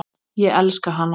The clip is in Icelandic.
Ég elska hana.